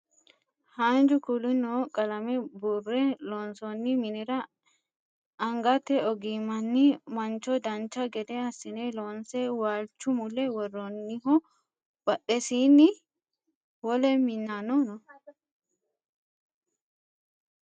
haanju kuuli noo qalame buurre loonsoonni minira angate ogimmanni mancho dancha gede assine loonse waalchu mule worroonniho badhesiinni wole minna no